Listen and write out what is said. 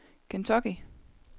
Kentucky